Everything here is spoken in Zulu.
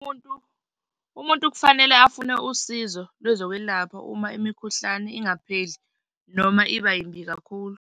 Umuntu, umuntu kufanele afune usizo kwezokwelapha uma imikhuhlane ingapheli noma iba yimbi kakhulu.